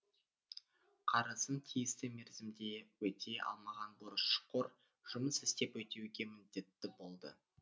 қарызын тиісті мерзімде өтей алмаған борышқор жұмыс істеп өтеуге міндетті болды